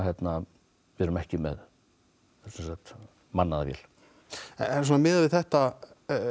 við erum ekki með mannaða vél en miðað við þetta